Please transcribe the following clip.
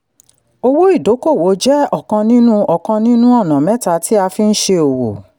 owó ìdókòwò jẹ́ ọ̀kan nínú ọ̀kan nínú ọ̀nà mẹ́ta tí a fi ń ṣe owó.